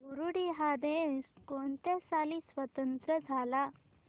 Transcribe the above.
Burundi हा देश कोणत्या साली स्वातंत्र्य झाला